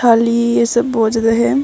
खाली यह सब बहुत ज्यादा है।